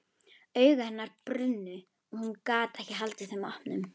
Augu hennar brunnu og hún gat ekki haldið þeim opnum.